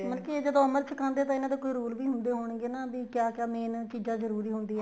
ਮਤਲਬ ਕੀ ਇਹ ਜਦੋਂ ਅਮ੍ਰਿਤ ਛਕਾਦੇ ਹੈ ਤਾਂ ਇਹਨਾ ਦਾ ਕੋਈ rule ਵੀ ਹੁੰਦੇ ਹੋਣਗੇ ਨਾ ਵੀ ਕਿਆ ਕਿਆ main ਚੀਜ਼ਾਂ ਜਰੂਰੀ ਹੁੰਦੀਆਂ